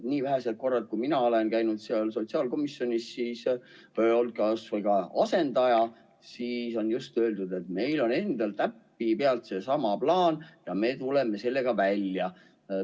Neil vähestel kordadel, kui mina olen käinud sotsiaalkomisjonis, olles olnud asendaja, on ikka öeldud, et meil on endal täpipealt seesama plaan ja me tuleme sellega välja.